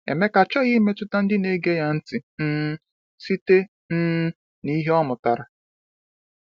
Emeka achọghị imetụta ndị na-ege ya ntị um site um na ihe ọ mụtara.